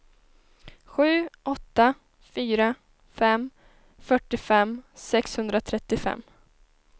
sju åtta fyra fem fyrtiofem sexhundratrettiofem